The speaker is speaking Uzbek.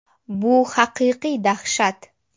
Bu haqiqiy dahshat!.